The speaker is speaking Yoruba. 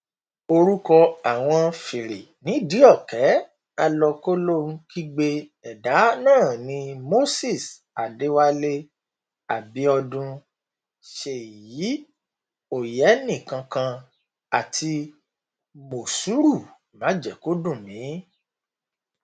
orúkọ àwọn fìrìnídìíọ̀kẹ́ alọkólóhunkígbe ẹ̀dá náà ni moses adéwálé abiodun ṣèyí òyẹ́nìkankan àti mòṣúrù májẹ̀ẹ́kódùnmí